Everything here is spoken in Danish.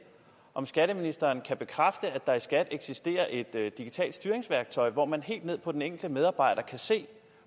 om skatteministeren kan bekræfte at der i skat eksisterer et digitalt styringsværktøj hvor man helt ned på den enkelte medarbejder kan se